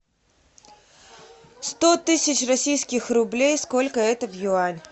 сто тысяч российских рублей сколько это в юань